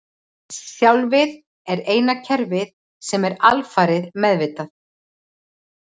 Sjálfið er eina kerfið sem er alfarið meðvitað.